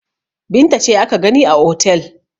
Binta ce aka gani a otel.